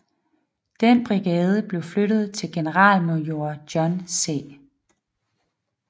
Denne brigade blev flyttet til generalmajor John C